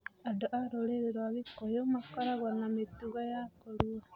Andũ a rũrĩrĩ rwaa Gikũyũ makoragwo na mĩtugo ya kũrua.